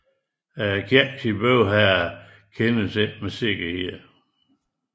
Kirkens bygherre kendes ikke med sikkerhed